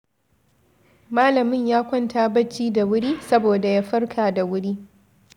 Malamin ya kwanta bacci da wuri saboda ya farka da wuri.